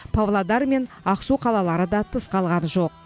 павлодар мен ақсу қалалары да тыс қалған жоқ